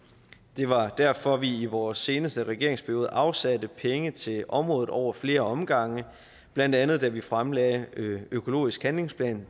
det var derfor vi i vores seneste regeringsperiode afsatte penge til området over flere omgange blandt andet da vi fremlagde økologisk handlingsplan